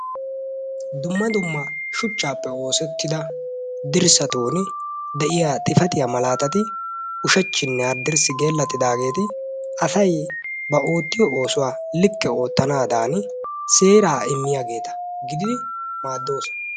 Dumma dumma shuchchappe oosetida dirssatun de'iyaa xifaatiyaa malaatatti ushachchinne haddirssi gelatidaaggeti asay ba oottiyo oosuwaa likke oottanadan seera immidi gidid maaddoosona.